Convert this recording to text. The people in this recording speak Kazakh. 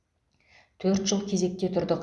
төрт жыл кезекте тұрдық